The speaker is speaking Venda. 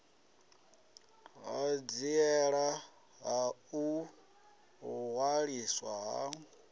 ṱhanziela ya u ṅwaliswa ha